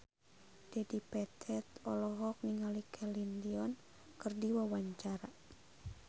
Dedi Petet olohok ningali Celine Dion keur diwawancara